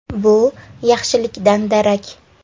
Bu yaxshilikdan darak.